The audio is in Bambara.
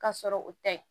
Ka sɔrɔ o tɛ